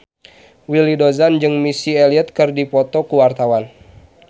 Willy Dozan jeung Missy Elliott keur dipoto ku wartawan